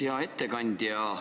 Hea ettekandja!